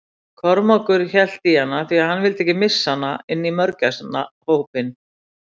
Kormákur hélt í hana því hann vildi ekki missa hana inn í mörgæsnahópinn.